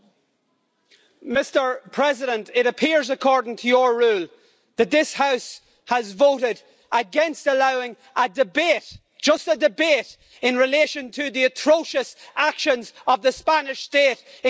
Mr President, it appears, according to your rule, that this House has voted against allowing a debate just a debate in relation to the atrocious actions of the Spanish State in Catalonia.